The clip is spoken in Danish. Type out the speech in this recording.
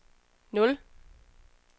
nul